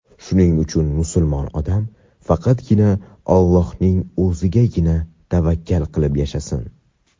Shuning uchun musulmon odam faqatgina Allohning O‘zigagina tavakkal qilib yashasin.